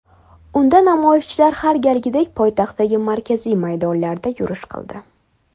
Unda namoyishchilar har galgidek poytaxtdagi markaziy maydonlarda yurish qildi.